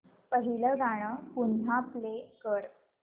पहिलं गाणं पुन्हा प्ले कर